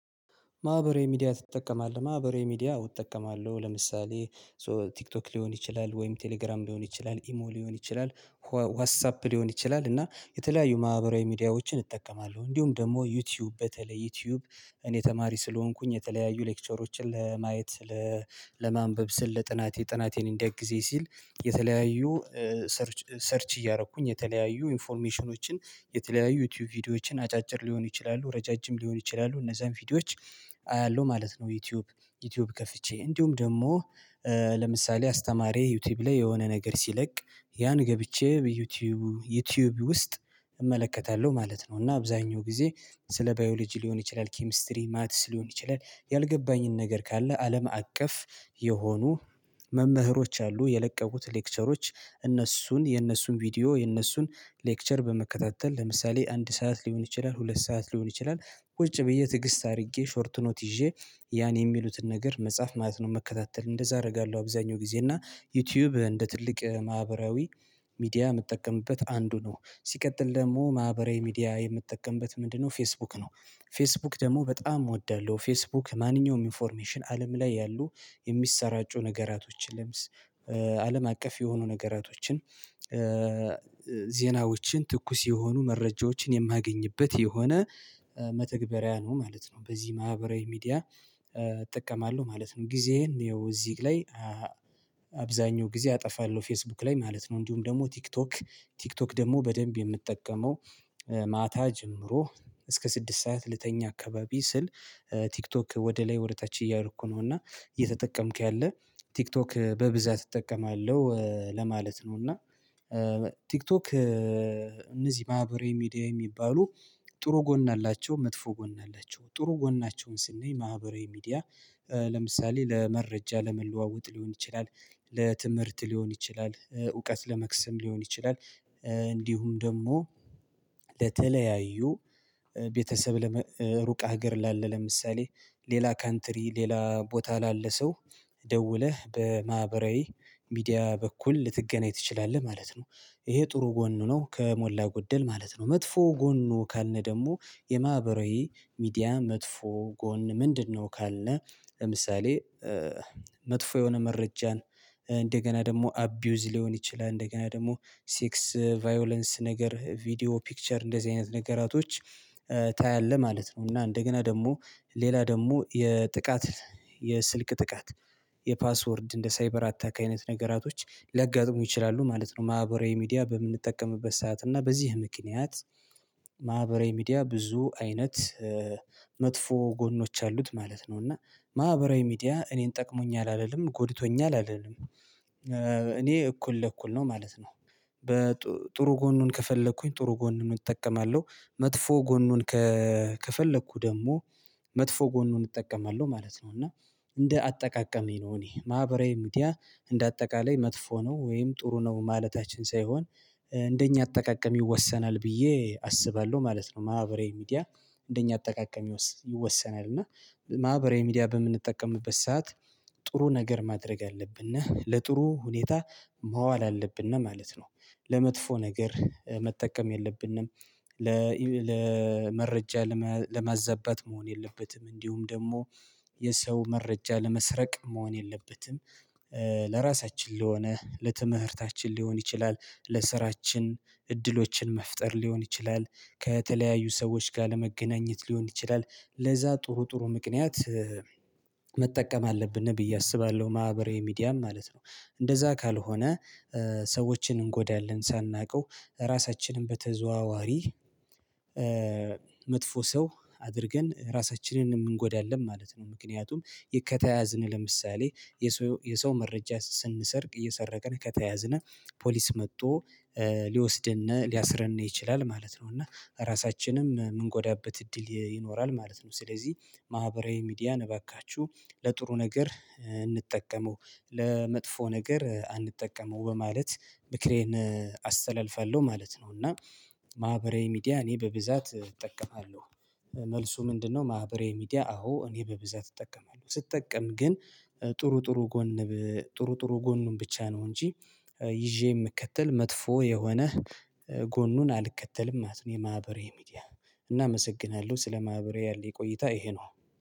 ማህበራዊ ሚዲያ ትጠቀማለህ? ማህበራዊ ሚዲያ እጠቀማለሁ። ለምሳሌ ሶ ቲክቶክ ሊሆን ይችላል ወይም ቴሌግራም ሊሆን ይችላል ኢሞ ሊሆን ይችላል ዋትሳፕ ሊሆን ይችላል እና የተለያዩ ማህበራዊ ሚዲያዎችን እጠቀማለሁ እንዲሁም ደግሞ ዩቲዩብ በተለይ ዩቲዩብ እኔ ተማሪ ስለሆንኩኝ የተለያዩ ሌክቸሮችን ለማየት ለማንበብ ስል ለጥናቴ ጥናቴን እንዲያግዘኝ ሲል የተለያዩ ሰርች ሰርች እያደረኩኝ የተለያዩ ኢንፎርሜሽኖችን የተለያዩ ዩቲዩብ ቪዲዮዎችን አጫጭር ሊሆኑ ይችላሉ ረዣዥም ሊሆኑ ይችላሉ እነዛን ቪዲዮዎች አያለሁ ማለት ነው። ዩቲዩብ ዩቲዩብ ከፍቼ እንዲሁም ደግሞ ለምሳሌ አስተማሪ ዩቲዩብ ላይ የሆነ ነገር ሲለቅ ያን ገብቼ በዩቲዩብ ዩቲዩብ ውስጥ እመለከታለሁ ማለት ነው። እና አብዛኛው ጊዜ ስለ ባዮሎጂ ሊሆን ይችላል ኬሚስትሪ ማትስ ሊሆን ይችላል ያልገባኝን ነገር ካለ አለም አቀፍ መምህሮች አሉ የለቀቁት ሌክቸሮች እነሱን የእነሱን ቪዲዮ የእነሱን ሌክቸር በመከታተል ለምሳሌ አንድ ሰዓት ሊሆን ይችላል ሁለት ሰዓት ሊሆን ይችላል ውጭ ብዬ ትግስት አድርጌ ሾርት ኖት ይዤ ያን የሚሉትን ነገር መጽሐፍ ማለት ነው። መከታተል እንደዛ አደርጋለሁ አብዛኛው ጊዜ እና ዩቲዩብ እንደ ትልቅ ማህበራዊ ሚዲያ የምጠቀምበት አንዱ ነው። ሲቀጥል ደግሞ ማህበራዊ ሚዲያ የምትጠቀምበት ምንድነው? ፌስቡክ ነው። ፌስቡክ ደግሞ በጣም እወዳለሁ ፌስቡክ ማንኛውም ኢንፎርሜሽን አለም ላይ ያሉ የሚሰራጩ ነገራቶችን ለምስ አለም አቀፍ የሆኑ ነገራቶችን ዜናዎችን ትኩስ የሆኑ መረጃዎችን የማገኝበት የሆነ መተግበሪያ ነው ማለት ነው። በዚህ ማህበራዊ ሚዲያ እጠቀማለሁ ማለት ነው። ጊዜህን ይኸው እዚህ ላይ አብዛኛው ጊዜ አጠፋለሁ ፌስቡክ ላይ ማለት ነው። እንዲሁም ደግሞ ቲክቶክ ቲክቶክ ደግሞ በደንብ የምጠቀመው ማታ ጀምሮ እስከ ስድስት ሰዓት ልተኛ አካባቢ ስል ቲክቶክ ወደ ላይ ወደ ታች እያደረኩ ነው እና እየተጠቀምክ ያለ ቲክቶክ በብዛት እጠቀማለሁ ለማለት ነው። እና ቲክቶክ እነዚህ ማህበራዊ ሚዲያ የሚባሉ ጥሩ ጎን አላቸው መጥፎ ጎን አላቸው ጥሩ ጎናቸውን ስንይ ማህበራዊ ሚዲያ ለምሳሌ ለመረጃ ለመለዋወጥ ሊሆን ይችላል። ለትምህርት ሊሆን ይችላል እውቀት ለመክስም ሊሆን ይችላል እንዲሁም ደግሞ ለተለያዩ ቤተሰብ ለሩቅ ሀገር ላለ ለምሳሌ ሌላ ካንትሪ ሌላ ቦታ ላለ ሰው ደውለህ በማህበራዊ ሚዲያ በኩል ልትገናኝ ትችላለህ ማለት ነው። ይሄ ጥሩ ጎኑ ነው ከሞላ ጎደል ማለት ነው። መጥፎ ጎኑ ካልነ ደግሞ የማህበራዊ ሚዲያ መጥፎ ጎን ምንድነው? ካለ ለምሳሌ መጥፎ የሆነ መረጃን እንደገና ደግሞ አብዩዝ ሊሆን ይችላል እንደገና ደግሞ ሴክስ ቫዮላንስ ነገር ቪዲዮ ፒክቸር እንደዚህ አይነት ነገራቶች ታያለህ ማለት ነው። እና እንደገና ደግሞ ሌላ ደግሞ የጥቃት የስልክ ጥቃት የፓስወርድ እንደ ሳይበር አታክ አይነት ነገራቶች ሊያጋጥሙ ይችላሉ ማለት ነው። ማህበራዊ ሚዲያ በምንጠቀምበት ሰዓት እና በዚህ ምክንያት ማህበራዊ ሚዲያ ብዙ አይነት መጥፎ ጎኖች አሉት ማለት ነው። እና ማህበራዊ ሚዲያ እኔን ጠቅሞኝ አልልም ጎድቶኛል አልልም እኔ እኩል ለእኩል ነው ማለት ነው። ጥሩ ጎኑን ከፈለኩኝ ጥሩ ጎኑን እጠቀማለሁ መጥፎ ጎኑን ከፈለኩ ደግሞ መጥፎ ጎኑን እጠቀማለሁ ማለት ነው። እና እንደ አጠቃቀሜ ነው እኔ ማህበራዊ ሚዲያ እንደ አጠቃላይ መጥፎ ነው ወይም ጥሩ ነው ማለታችን ሳይሆን እንደኛ አጠቃቀም ይወሰናል ብዬ አስባለሁ ማለት ነው። ማህበራዊ ሚዲያ እንደኛ አጠቃቀም ይወሰናል እና ማህበራዊ ሚዲያ በምንጠቀምበት ሰዓት ጥሩ ነገር ማድረግ አለብን ነህ ለጥሩ ሁኔታ መዋል አለብን ነው ማለት ነው። ለመጥፎ ነገር መጠቀም የለብንም። ለመረጃ ለመዘባት መሆን የለበትም እንዲሁም ደግሞ የሰው መረጃ ለመስረቅ መሆን የለበትም። ለራሳችን ለሆነ ለትምህርታችን ሊሆን ይችላል ለስራችን እድሎችን መፍጠር ሊሆን ይችላል ከተለያዩ ሰዎች ጋር ለመገናኘት ሊሆን ይችላል ለዛ ጥሩ ጥሩ ምክንያት መጠቀም አለብን ብዬ አስባለሁ። ማህበራዊ ሚዲያም ማለት ነው እንደዛ ካልሆነ ሰዎችን እንጎዳለን ሳናውቀው ራሳችንን በተዘዋዋሪ መጥፎ ሰው አድርገን ራሳችንን የምንጎዳለን ማለት ነው። ምክንያቱም ከተያዝን ለምሳሌ የሰው መረጃ ስንሰርቅ እየሰረቅን ከተያዝነህ ፖሊስ መጥቶ ሊወስድን ሊያስረን ይችላል ማለት ነው። እና ራሳችንም ምንጎዳበት እድል ይኖራል ማለት ነው። ስለዚህ ማህበራዊ ሚዲያ እባካችሁ ለጥሩ ነገር እንጠቀመው ለመጥፎ ነገር አንጠቀመው በማለት ምክሬን አስተላልፋለሁ ማለት ነው። እና ማህበራዊ ሚዲያ እኔ በብዛት እጠቀማለሁ። መልሱ ምንድነው? ማህበራዊ ሚዲያ አዎ እኔ በብዛት እጠቀማለሁ ስጠቀም ግን ጥሩ ጥሩ ጎን ጥሩ ጥሩ ጎን ብቻ ነው እንጂ ይዤ የምከተል መጥፎ የሆነ ጎኑን አልከተልም ማለት ነው። የማህበራዊ ሚዲያ እናመሰግናለሁ ስለ ማህበራዊ ያለኝ ቆይታ ይሄ ነው።